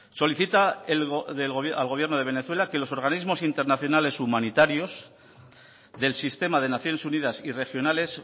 solicita al gobierno de venezuela que los organismos internacionales humanitarios del sistema de naciones unidas y regionales